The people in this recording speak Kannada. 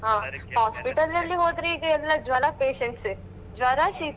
ಹ hospital ಅಲ್ಲಿ ಹೋದ್ರೆ ಈ ಜ್ವರ patients ಎ ಜ್ವರ ಶೀತ.